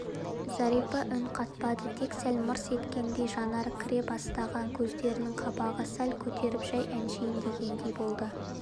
зәрипа үн қатпады тек сәл мырс еткендей жанары кіре бастаған көздерінің қабағын сәл көтеріп жай әшейін дегендей болды